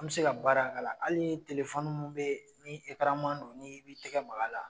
An be se ka baara k'ala ali telefɔni mun be ye n i ekaran man d' o nin ib'i tɛgɛ mag'ala